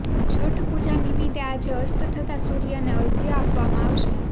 છઠ પૂજા નિમિત્તે આજે અસ્ત થતા સૂર્યને અર્ધ્ય આપવામાં આવશે